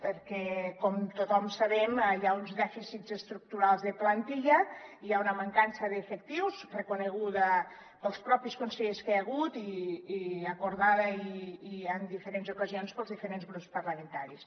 perquè com tothom sabem hi ha uns dèficits estructurals de plantilla hi ha una mancança d’efectius reconeguda pels consellers mateixos que hi ha hagut i acordada i en diferents ocasions pels diferents grups parlamentaris